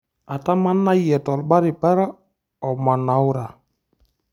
Atamanayie torbaribara omanaura.